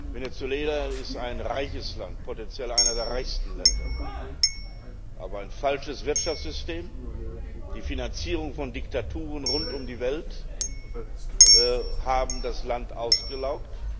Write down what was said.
Venezuela ist ein reiches Land, potenziell eines der reichsten Länder. Aber ein falsches Wirtschaftssystem, die Finanzierung von Diktaturen rund um die Welt haben das Land ausgelaugt.